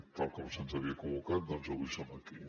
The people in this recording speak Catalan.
tal com se’ns havia convocat doncs avui som aquí